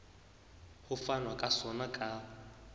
ho fanwa ka sona ka